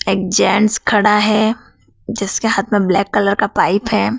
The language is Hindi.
एक जेंट्स खड़ा है जिसके हाथ में ब्लैक कलर का पाइप है।